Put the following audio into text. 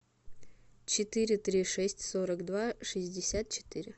четыре три шесть сорок два шестьдесят четыре